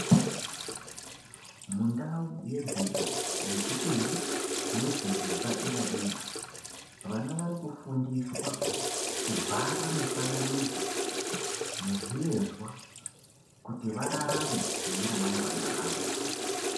Mundau yedzidzo yechipiri nedzidzo yepadera dera vana varikufundiswa kubhara mufananidzo nezvivezwa kuti vararame mune ramangwana ravo.